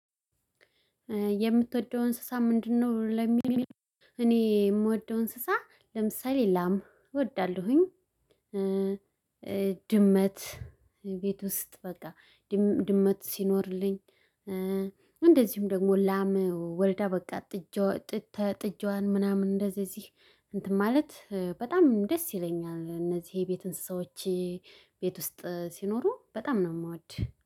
የምትወደው እንስሳ ምንድነው? ለሚል እኔ የምወደው እንስሳ ለምሳሌ ላም እወዳለሁኝ ድመት ቤት ውስጥ በቃ ድመት ሲኖርልኝ እንደዚሁም ደግሞ ላም ወልዳ በቃ ጥጃዋን ምናምን እንደዚህ እዚህ እንትን ማለት በጣም ደስ ይለኛል እነዚህ የቤት እንስሳዎቼ ቤት ውስጥ ሲኖሩ በጣም ነው የማወድ